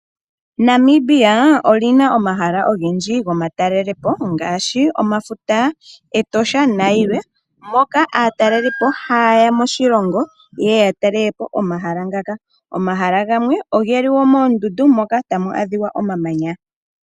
Namibia oli na omahala ogendji gomatalelopo ngaashi omafuta, Etosha nayilwe moka aatalelipo ha yeya moshilongo yeye ya talelepo omahala ngaka. Omahala gamwe ogeli wo moondundu moka tamu adhika omamanya.